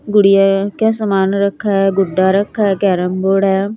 गुड़िया का सामान रखा है गुड्डा रखा है कैरम बोर्ड है।